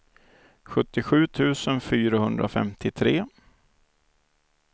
sjuttiosju tusen fyrahundrafemtiotre